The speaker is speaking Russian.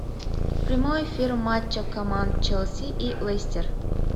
прямой эфир матча команд челси и лестер